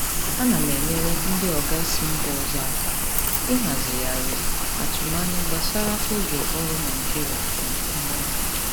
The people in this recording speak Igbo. Ana m enyere ndị oga si mba ọzọ aka ịhazigharị atụmanya gbasara oge ọrụ Naịjirịa na mgbanwe.